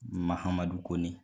Mahamadu Kone